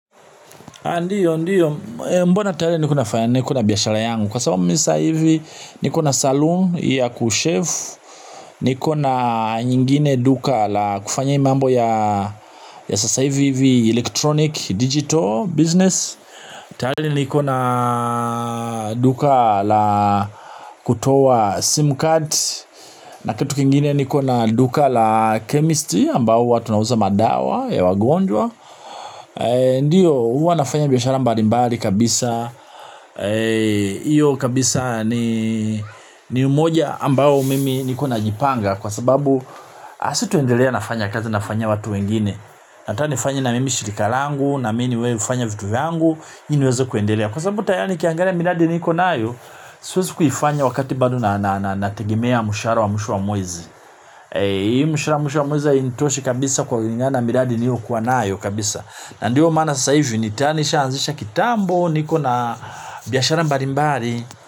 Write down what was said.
Ndio, ndio, mbona tarehe nne kuna fanya ni kuna biashara yangu. Kwa sababu misa hivi ni kuna saloon ya kushave. Nikona nyingine duka la kufanya hii mambo ya sasa hivi hivi electronic digital business. Tayari niko na duka la kutoa sim card. Na kitu kingine niko na duka la chemist ambao huwa tunauza madawa ya wagonjwa. Ndiyo huwa nafanya biashara mbali mbali kabisa. Iyo kabisa ni umoja ambao mimi niko na jipanga. Kwa sababu asituendelea nafanya kazi nafanya watu wengine. Nataka nifanye na mimi shirika langu na mimi hufanya vitu vyangu ile niweze kuendelea kwa sababu tayari nikiangalia miradi niko nayo. Siwezi kuifanya wakati bado na nategemea mshahara wa mwisho wa mwezi. Iyo mshahara mwisho wa mwezi hainitoshi kabisa kulingana miradi mihukuwa nayo kabisa. Na ndio maana sasa hivi tayari nishaanzisha kitambo niko na biashara mbalimbali.